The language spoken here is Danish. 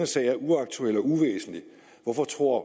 sag er uaktuel og uvæsentlig hvorfor tror